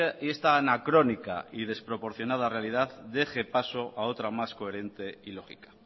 y esta anacrónica y desproporcionada realidad deje paso a otra más coherente y lógica